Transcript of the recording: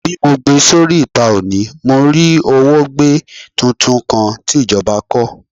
Bi mo gbe sori ita oni, mo rí òwògbé tuntun kan ti ìjọba kọ.